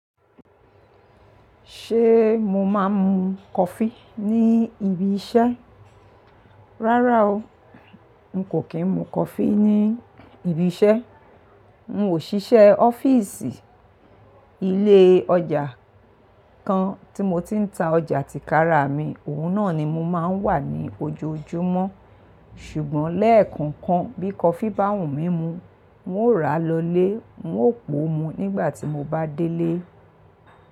Ṣé mo máa ń mu coffee ní ibi iṣẹ́? Rárá o, n kò kí ń mu coffee ní ibi iṣẹ́. N ò ṣiṣẹ́ ọ́fíìsì, ilé ọjà kan tí mo ti ń ta ọjà tìkára mi, òun náà ni mo máa ń wà ní ojoojúmọ́. Ṣùgbọ́n lẹ́ẹ̀kan kan bí coffee bá wùn mí mu, n ó ràá lọlé, n ó pò ó mu nígbà tí mo bá délé.